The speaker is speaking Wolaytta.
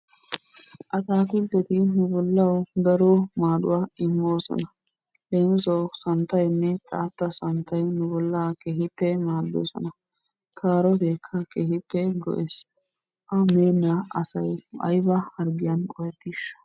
Atakiltteti nu bollawu daro maaduwa immoosona. Leemissuwawu santtaynne xaata santtay nu bollaa keehippe maaddoosona. Kaarootekka keehippe go"ees. A meenna asay aybba harggiyan qohetishsha?